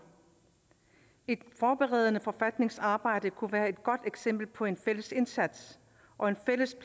et forberedende forfatningsarbejde kunne være et godt eksempel på en fælles indsats og en fælles